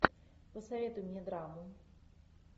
посоветуй мне драму